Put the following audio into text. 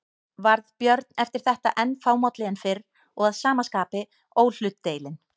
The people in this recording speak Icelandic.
Varð Björn eftir þetta enn fámálli en fyrr og að sama skapi óhlutdeilinn.